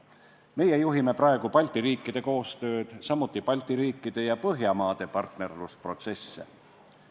Meie juhime praegu Balti riikide koostööd, samuti Balti riikide ja Põhjamaade partnerlusprotsesse.